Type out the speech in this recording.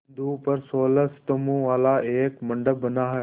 बिंदु पर सोलह स्तंभों वाला एक मंडप बना है